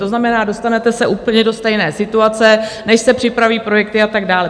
To znamená, dostanete se úplně do stejné situace, než se připraví projekty a tak dále.